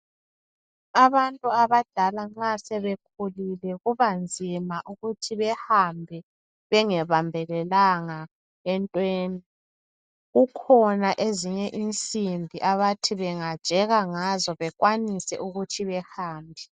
Abantu abadala nxa sebekhulile kubanzima ukuthi bahambe bengebambelelanga entweni. Kukhona ezinye insimbi abathi bengajeka ngazo bekwanise ukuthi behambe.